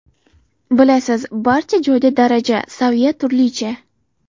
Bilasiz, barcha joyda daraja, saviya turlicha.